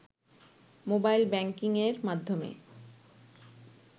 mobile ব্যাংকিংয়ের মাধ্যমে